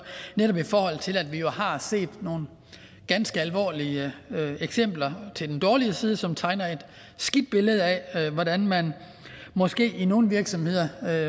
netop i forhold til at vi har set nogle ganske alvorlige eksempler til den dårlige side som tegner et skidt billede af hvordan man måske i nogle virksomheder mere